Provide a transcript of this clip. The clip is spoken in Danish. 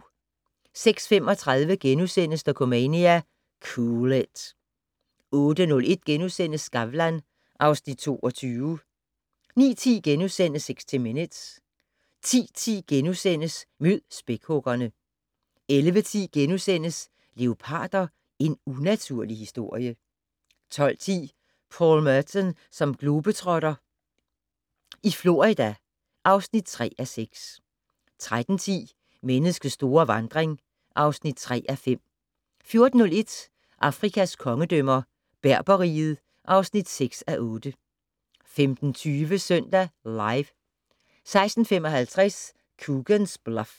06:35: Dokumania: Cool it * 08:01: Skavlan (Afs. 22)* 09:10: 60 Minutes * 10:10: Mød spækhuggerne * 11:10: Leoparder - en unaturlig historie * 12:10: Paul Meton som globetrotter - i Florida (3:6) 13:10: Menneskets store vandring (3:5) 14:01: Afrikas kongedømmer - Berber-riget (6:8) 15:20: Søndag Live 16:55: Coogan's Bluff